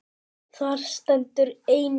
Þar stendur einnig